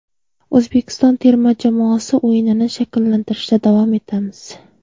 O‘zbekiston terma jamoasi o‘yinini shakllantirishda davom etamiz.